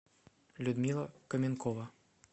людмила каменкова